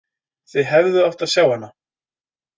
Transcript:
Þið hefðuð átt að sjá hana.